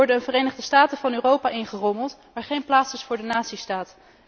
We worden de Verenigde Staten van Europa ingerommeld, waar geen plaats is voor de natiestaat.